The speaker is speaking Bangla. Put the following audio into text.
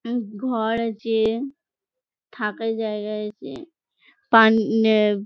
উম ঘর আছে থাকার জায়গা আছে। পান ন্যাব --